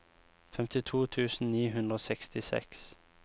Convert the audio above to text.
femtito tusen ni hundre og sekstiseks